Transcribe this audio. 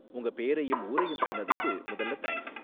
உங்க பேரையும் ஊரையும் சொன்னதுக்கு முதல்ல தேங்க்ஸ்.